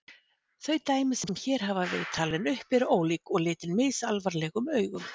Þau dæmi sem hér hafa verið talin upp eru ólík og litin misalvarlegum augum.